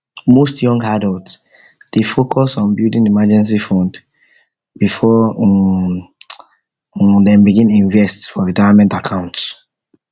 most young adults dey first focus on building emergency fund before um dem before um dem begin invest for retirement account